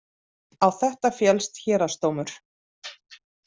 Á þetta féllst héraðsdómur